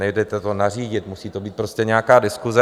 Nejde to nařídit, musí to být prostě nějaká diskuse.